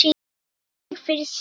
Tvö stig fyrir sigur